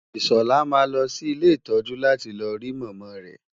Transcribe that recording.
Ìṣọ̀lá máa lọ sí ilé ìtọ́jú láti lọ rí Màmá rẹ.